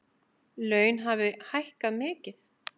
Laun hafi hækkað mikið.